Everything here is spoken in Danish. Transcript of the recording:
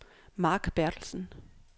Mark Berthelsen